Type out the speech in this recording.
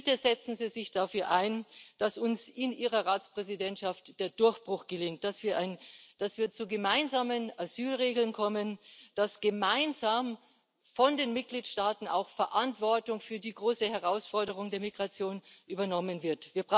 Bitte setzen Sie sich dafür ein, dass uns unter Ihrem Ratsvorsitz der Durchbruch gelingt, dass wir zu gemeinsamen Asylregeln kommen, dass gemeinsam von den Mitgliedstaaten auch Verantwortung für die große Herausforderung der Migration übernommen wird.